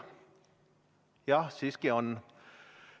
Jah, siiski on.